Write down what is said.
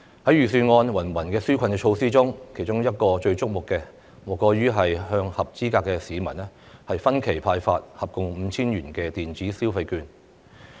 在預算案的芸芸紓困措施中，其中最矚目的莫過於向合資格市民分期派發共 5,000 元電子消費券。